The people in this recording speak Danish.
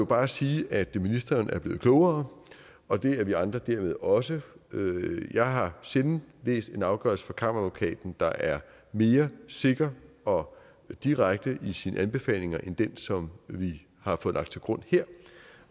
bare sige at ministeren er blevet klogere og det er vi andre dermed også jeg har sjældent læst en afgørelse fra kammeradvokaten der er mere sikker og direkte i sine anbefalinger end den som vi har fået lagt til grund her